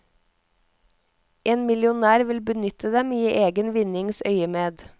En millionær vil benytte dem i egen vinnings øyemed.